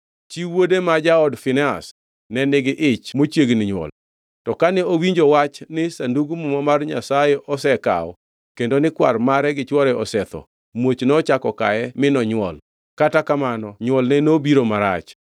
Chi wuode, ma jaod Finehas, ne nigi ich mochiegni nywol. To kane owinjo wach ni Sandug Muma mar Nyasaye osekaw kendo ni kwar mare gi chwore osetho, muoch nochako kaye mi nonywol, kata kamano nywolne nobiro marach.